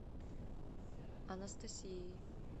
анастасией